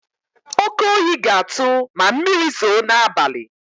Oke oyi ga-atụ ma mmiri zoo n'abalị.